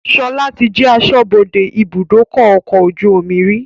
Sọlá tí jẹ aṣọ́bodè ibùdókọ̀ ọkọ̀ ojú omi rí